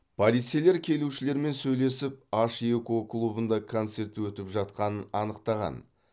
полицейлер келушілермен сөйлесіп аш екі о клубында концерт өтіп жатқанын анықтаған